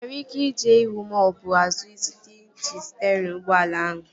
Ị nwere ike ije ihu maọbụ azụ site n'iji sterịn ụgbọala ahụ